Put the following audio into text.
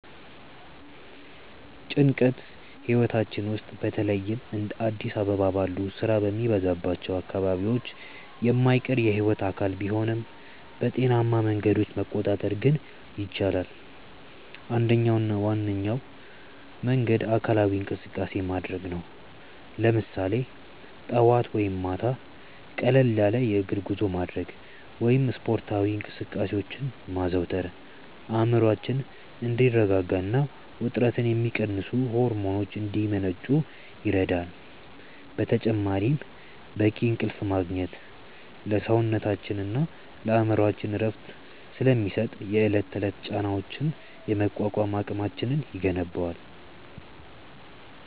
ጭንቀት ህይወታችን ውስጥ በተለይም እንደ አዲስ አበባ ባሉ ስራ በሚበዛባቸው አካባቢዎች የማይቀር የህይወት አካል ቢሆንም፣ በጤናማ መንገዶች መቆጣጠር ግን ይቻላል። አንደኛውና ዋነኛው መንገድ አካላዊ እንቅስቃሴ ማድረግ ነው፤ ለምሳሌ ጠዋት ወይም ማታ ቀለል ያለ የእግር ጉዞ ማድረግ ወይም ስፖርታዊ እንቅስቃሴዎችን ማዘውተር አእምሮአችን እንዲረጋጋና ውጥረትን የሚቀንሱ ሆርሞኖች እንዲመነጩ ይረዳል። በተጨማሪም በቂ እንቅልፍ ማግኘት ለሰውነታችንና ለአእምሮአችን እረፍት ስለሚሰጥ፣ የዕለት ተዕለት ጫናዎችን የመቋቋም አቅማችንን ይገነባል።